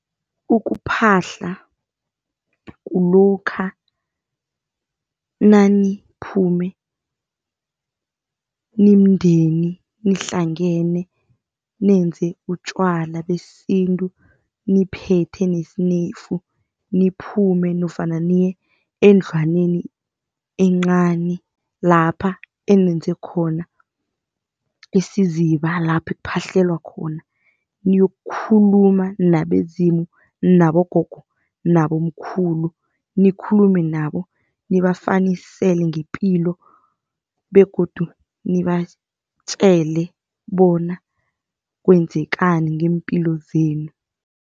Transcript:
Ukuphahla kulokha naniphume nimndeni nihlangene nenze utjwala besintu niphethe nesineyfu, niphume nofana niye endlwaneni encani lapha enenze khona isiziba lapho kuphahlelwa khona. Niyokukhuluma nabezimu nabogogo nabo mkhulu. Nikhulume nabo nibafanisele ngepilo begodu nibatjele bona kwenzekani ngeempilo zenu.